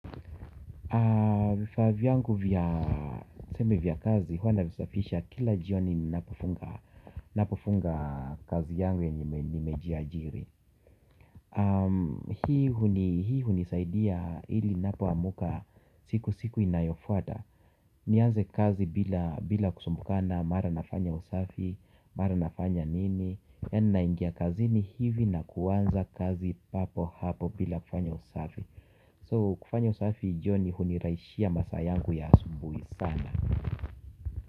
Vifaa viyangu vya tuseme vya kazi huwa navisafisha kila jioni ninapofunga kazi yangu yenye nimejiajiri. Hii hunisaidia ili napo amuka siku siku inayofuata. Nianze kazi bila kusumbukana mara nafanya usafi, mara nafanya nini. Yani naingia kazini hivi na kuanza kazi papo hapo bila kufanya usafi So kufanya usafi jioni huniraishia masaa yangu ya asubui sana.